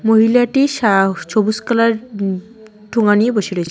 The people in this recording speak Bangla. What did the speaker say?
মহিলাটি সা-সবুজ কালার উম ঠোঙ্গা নিয়ে বসে রয়ে--